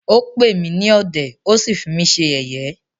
Ó pè mí ní ọ̀dẹ̀,ó sí fí mí ṣe yẹ̀yé.